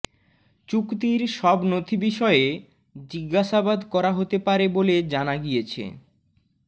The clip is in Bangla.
চুক্তির সব নথি বিষয়ে জিজ্ঞাসাবাদ করা হতে পারে বলে জানা গিয়েছে